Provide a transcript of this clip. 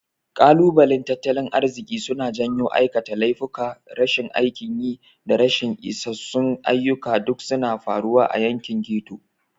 Kalubalen tattalin arziki suna janyo aikata laifuka, rashin aikin yi, da rashin isassun ayyuka duk suna faruwa a yankin ghetto.